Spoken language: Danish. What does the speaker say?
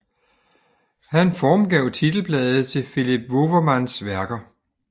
Han formgav titelbladet til Philips Wouwermans værker